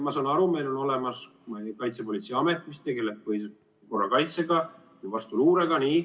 Ma saan aru, meil on olemas Kaitsepolitseiamet, kes tegeleb korrakaitsega või vastuluurega.